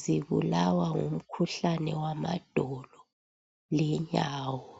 zibulawa ngumkhuhlane wamadolo lenyawo.